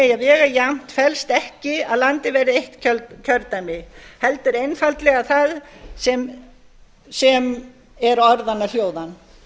eigi að vega jafnt felst ekki að landið verði eitt kjördæmi heldur einfaldlega það sem er orðanna hljóðan